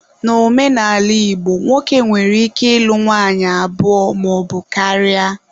Na omenala Igbo, nwoke nwere ike ịlụ nwanyị abụọ maọbu karịa.